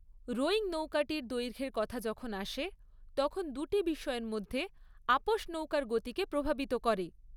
Rowing নৌকাটির দৈর্ঘ্যর কথা যখন আসে, তখন দুটি বিষয়ের মধ্যে আপোস নৌকার গতিকে প্রভাবিত করে।